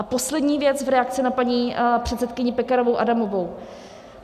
A poslední věc v reakci na paní předsedkyni Pekarovou Adamovou.